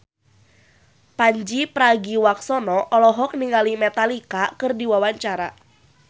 Pandji Pragiwaksono olohok ningali Metallica keur diwawancara